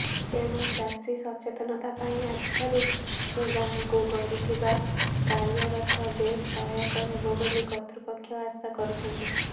ତେଣୁ ଚାଷୀ ସଚେତନତାପାଇଁ ଆଜିଠାରୁ ଗାଁକୁ ଗଡିଥିବା କାଳିଆରଥ ବେଶ୍ ସହାୟକ ହେବବୋଲି କର୍ତ୍ତୃପକ୍ଷ ଆଶା କରୁଛନ୍ତି